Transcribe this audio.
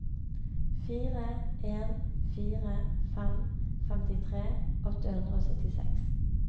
fire en fire fem femtitre åtte hundre og syttiseks